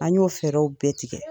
An y'o fɛɛrɛw bɛɛ tigɛ.